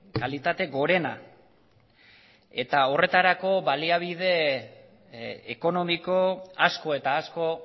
kalitate gorena eta horretarako baliabide ekonomiko asko eta asko